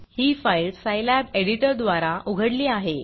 ही file Scilab एडिटरद्वारा उघडली आहे